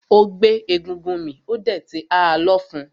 Ó gbé egúngún mì ó dẹ̀ ti ha lọ́fun.